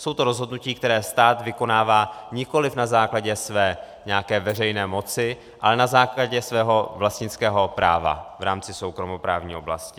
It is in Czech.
Jsou to rozhodnutí, která stát vykonává nikoliv na základě své nějaké veřejné moci, ale na základě svého vlastnického práva v rámci soukromoprávní oblasti.